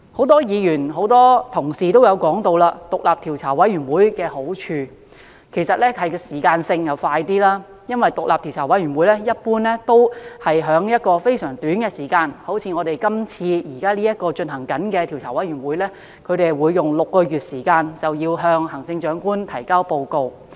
多位議員和同事均提到，獨立委員會的好處是可以較快完成工作，因為獨立調查委員會一般會在非常短的時間內完成調查，例如現正展開工作的調查委員會，便會在6個月內向行政長官提交報告。